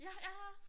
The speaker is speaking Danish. Ja ja